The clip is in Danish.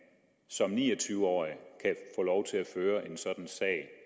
som ni og tyve årig at føre en sådan sag